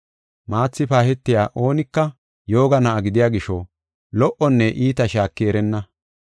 Maathi paahetiya oonika yooga na7a gidiya gisho, lo77onne iita shaaki erenna.